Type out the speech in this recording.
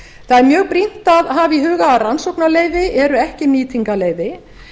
það er mjög brýnt að hafa í huga að rannsóknarleyfi eru ekki nýtingarleyfi